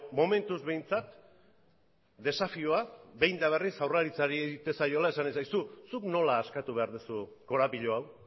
momentuz behintzat desafioa behin eta berriz jaurlaritzari egiten zaiola esanez aizu zuk nola askatu behar duzu korapilo hau